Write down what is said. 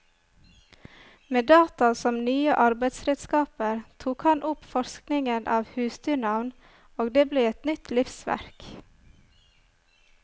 Med data som nye arbeidsredskaper tok han opp forskningen av husdyrnavn, og det ble et nytt livsverk.